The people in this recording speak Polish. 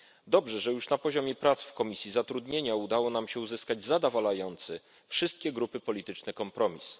Dobrze, że już na poziomie prac w Komisji Zatrudnienia udało nam się uzyskać zadawalający wszystkie grupy polityczne kompromis.